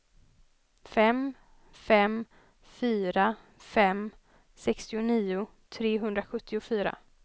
fem fem fyra fem sextionio trehundrasjuttiofyra